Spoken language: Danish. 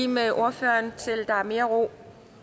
med ordføreren til der er mere ro